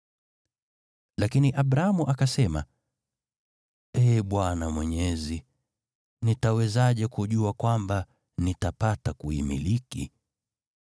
Lakini Abramu akasema, “Ee Bwana Mwenyezi, nitawezaje kujua kwamba nitapata kuimiliki?”